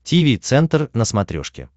тиви центр на смотрешке